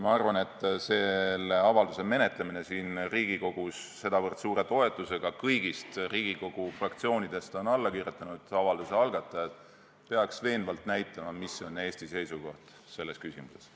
Ma arvan, et selle avalduse menetlemine siin Riigikogus sedavõrd suure toetusega – avaldusele on alla kirjutanud algatajad kõigist Riigikogu fraktsioonidest – peaks veenvalt näitama, mis on Eesti seisukoht selles küsimuses.